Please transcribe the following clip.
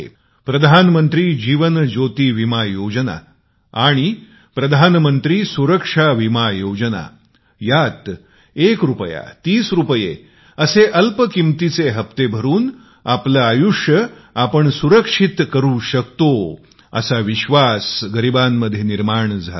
प्रधानमंत्री जीवन ज्योती विमा योजना एक रुपया तीस रुपये या मामुली हप्त्यामुळे आज गरिबांमध्ये मोठा विश्वास निर्माण झाला आहे